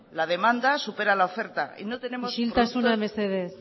la demanda supera la oferta y no tenemos productos isiltasuna mesedez